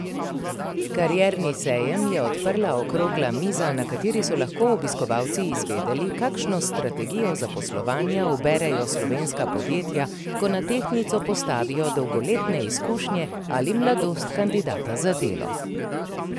Karierni sejem je odprla okrogla miza, na kateri so lahko obiskovalci izvedeli, kakšno strategijo zaposlovanja uberejo slovenska podjetja, ko na tehtnico postavijo dolgoletne izkušnje ali mladost kandidata za delo.